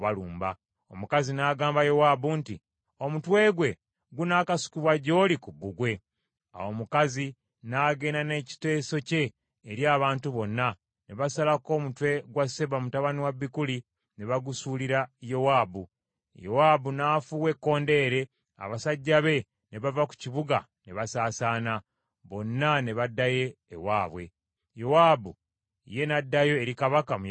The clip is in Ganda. Omukazi n’agamba Yowaabu nti, “Omutwe gwe gunaakasukibwa gy’oli ku bbugwe.” Awo omukazi n’agenda n’ekiteeso kye eri abantu bonna, ne basalako omutwe gwa Seba mutabani wa Bikuli, ne bagusuulira Yowaabu. Yowaabu n’afuuwa ekkondeere, abasajja be ne bava ku kibuga ne basaasaana, bonna ne baddayo ewaabwe. Yowaabu ye n’addayo eri kabaka mu Yerusaalemi.